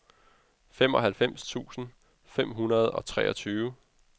femoghalvfems tusind fem hundrede og treogtyve